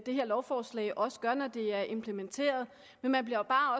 det her lovforslag også gør når det er implementeret men man bliver